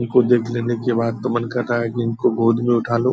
इनको देख लेने के बाद तो मन कर रहा है कि इनको गोद में उठा लू।